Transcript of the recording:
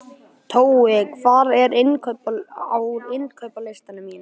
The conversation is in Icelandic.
Tói, hvað er á innkaupalistanum mínum?